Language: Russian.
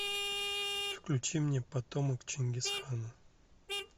включи мне потомок чингисхана